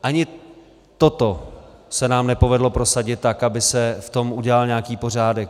Ani toto se nám nepovedlo prosadit tak, aby se v tom udělal nějaký pořádek.